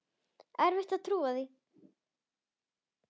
Erfitt að trúa því.